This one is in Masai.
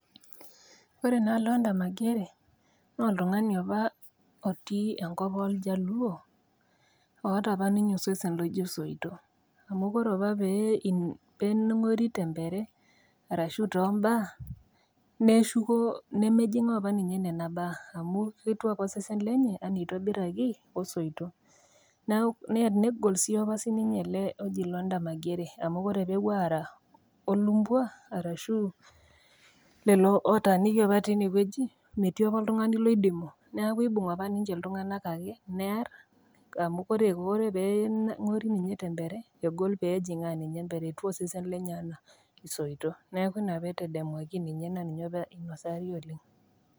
Ore naa Lwanda Magere naa oltang'ani opa otii enkop iljaluo, oata opa ninye osesen oijo isoito, amu ore opa pee eng'ori te empere arashu too imbaa, neshuku nemejingaa opa ninye nena baa, amu ketiu opa osesen lenye anaa oitobiraki o soito, negol naa sii opa sii ele oji Lwanda Magere amu ore pee epuo aara o lumpua arashu lelo ootaniki opa teine wueji, metii opa oltang'ani oidimu amu eibung opa ake ninye iltung'ana near amu Kore pee eng'ori ninye te empere egol pee ejing'aa nininye empere etiu osese lenye anaa isoito. Neaku Ina pee etadamwaki ninye naa ninye opa einosaari oleng'